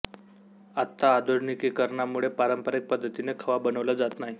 आत्ता आधुनिकीकरणामुळे पारंपरिक पद्धतीने खवा बनला जात नाही